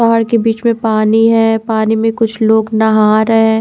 पहाड़ के बीच में पानी है पानी में कुछ लोग नहा रहे है।